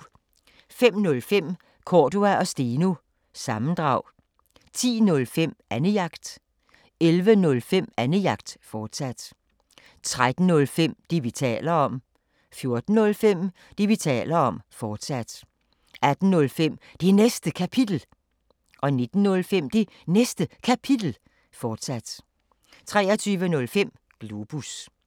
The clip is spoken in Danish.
05:05: Cordua & Steno – sammendrag 10:05: Annejagt 11:05: Annejagt, fortsat 13:05: Det, vi taler om 14:05: Det, vi taler om, fortsat 18:05: Det Næste Kapitel 19:05: Det Næste Kapitel, fortsat 23:05: Globus